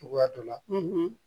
Cogoya dɔ la